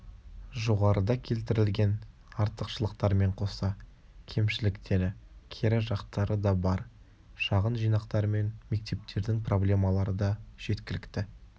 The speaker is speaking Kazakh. жоғарыда келтірілген артықшылықтармен қоса кемшіліктері кері жақтары да бар шағын жинақтармен мектептердің проблемалары да жеткілікті